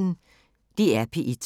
DR P1